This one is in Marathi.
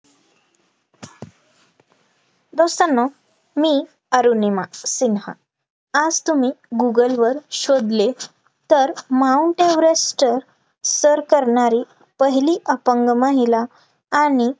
दोस्तांनो मी अरुणिमा सिन्हा आज तुम्ही गूगल वर शोधले, तर mount एव्हरेस्ट सर करणारी पहिली अपंग महिला आणि